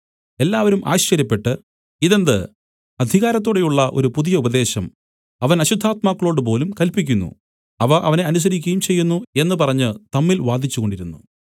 എല്ലാവരും ആശ്ചര്യപ്പെട്ട് ഇതെന്ത് അധികാരത്തോടെയുള്ള ഒരു പുതിയ ഉപദേശം അവൻ അശുദ്ധാത്മാക്കളോടുപോലും കല്പിക്കുന്നു അവ അവനെ അനുസരിക്കുകയും ചെയ്യുന്നു എന്നു പറഞ്ഞു തമ്മിൽ വാദിച്ചുകൊണ്ടിരുന്നു